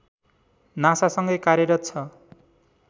नासासँगै कार्यरत छ